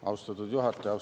Austatud juhataja!